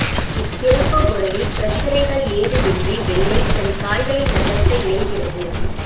இத்திறப்பு முறையில் பிரச்சினைகள் ஏதுமின்றி வெள்ளை தன் காய்களை நகர்த்த இயல்கிறது